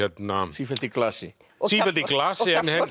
sífellt í glasi sífellt í glasi